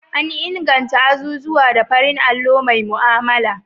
An inganta azuzuwa da farin allo mai mu'amala.